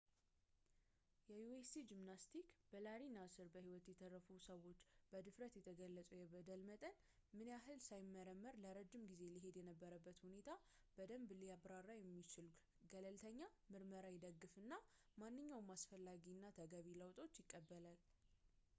የ usa ጂምናስቲክስ በላሪ ናስር በሕይወት የተረፉት ሰዎች በድፍረት በተገለጸው የበደል መጠን ምላይ ምን ያህል ሳይመረመር ለረጅም ጊዜ ሊሄድ የነበረበትን ሁኔታን በደምብ ሊያብራራ የሚችል ገለልተኛ ምርመራን ይደግፋል እናም ማንኛውንም አስፈላጊ እና ተገቢ ለውጦችንም ይቀበላል